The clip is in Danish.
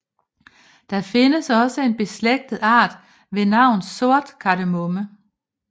Der findes også en beslægtet art ved navn sort kardemomme